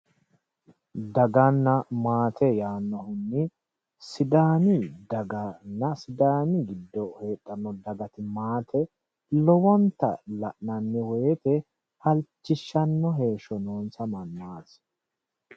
Daganna maate yaannohunni sidaami daganna sidaami giddo heedhanno dagati maate lowonta la'nanni woyiite halchishanno heeshsho noonsa mannaati